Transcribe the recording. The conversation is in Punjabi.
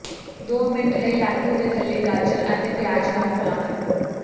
ਦੋ ਮਿੰਟ ਲਈ ਲਾਟੂ ਦੇ ਥੱਲੇ ਗਾਜਰ ਅਤੇ ਪਿਆਜ਼ ਨਾਲ ਫਲਾਂ ਕੱਟੋ